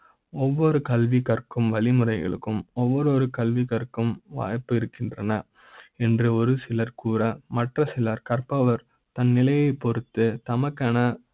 ஒவ்வொரு கல்வி கற்கு ம் வழிமுறைகளுக்கும் ஒவ்வொரு கல்வி கற்கு ம் வாய்ப்பு இருக்கின்றன என்று ஒரு சிலர் கூற, மற்ற சிலர் கற்ப வர் தன் நிலையை பொறுத்து தம க்கான